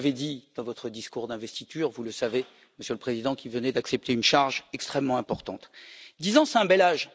Vous l'avez dit dans votre discours d'investiture, vous le savez, Monsieur le Président, vous qui venez d'accepter une charge extrêmement importante dix ans, c'est un bel âge.